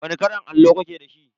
Wani kalan allo kuke da shi?